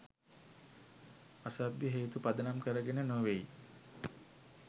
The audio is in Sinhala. අසභ්‍ය හේතු පදනම් කරගෙන නොවෙයි.